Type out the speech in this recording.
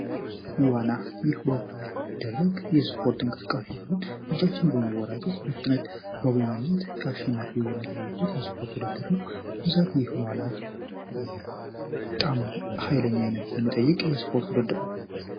ዋና ይህ ውሀ ላይ የሚደረግ የስፖርት እንቅስቃሴ ሲሆን፤ እጃችንን በማወራጨት በፍጥነት በመዋኘት አሸናፊው የሚለይበት የስፖርት ውድድር ነው። በብዛት ይህ ዋና በጣም ኃይለኛነት የሚጠይቅ የስፖርት ውድድር ነው።